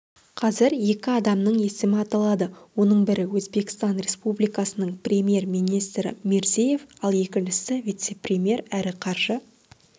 қазір екі адамның есімі аталады оның бірі өзбекстан республикасының премьер-министрі мирзиев ал екіншісі вице-премьер әрі қаржы